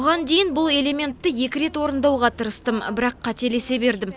бұған дейін бұл элементті екі рет орындауға тырыстым бірақ қателесе бердім